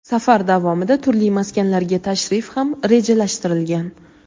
safar davomida turli maskanlarga tashrif ham rejalashtirilgan.